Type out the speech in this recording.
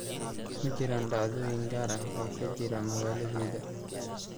Ma jiraan dhacdooyin gaar ah oo ka jira magaaladayda?